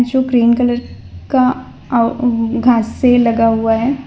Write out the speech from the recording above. जो green colour का आ व घासे लगा हुआ है।